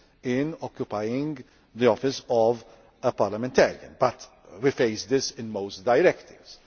in occupying the office of a parliamentarian. But we face this in most directives.